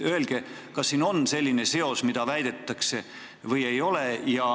Öelge, kas siin on selline seos, mida väidetakse, või ei ole.